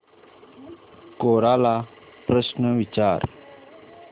कोरा ला प्रश्न विचार